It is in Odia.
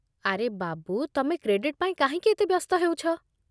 ଆରେ ବାବୁ, ତମେ କ୍ରେଡିଟ୍ ପାଇଁ କାହିଁକି ଏତେ ବ୍ୟସ୍ତ ହେଉଛ?